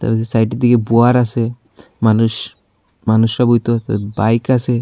ওই যে সাইড দিয়ে বোয়ার আছে মানুষ মানুষ বাইক আছে।